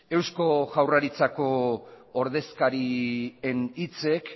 eusko jaurlaritzako ordezkarien hitzek